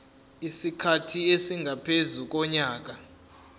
isikhathi esingaphezu konyaka